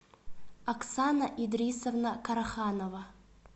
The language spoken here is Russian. оксана идрисовна караханова